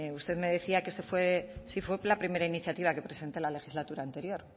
usted me decía que esta fue sí fue la primera iniciativa que presenté la legislatura anterior